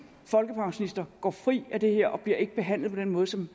folkepensionister går fri af det her og bliver ikke behandlet på den måde som